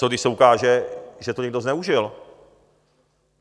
Co když se ukáže, že to někdo zneužil?